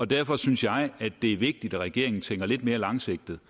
derfor synes jeg det er vigtigt at regeringen tænker lidt mere langsigtet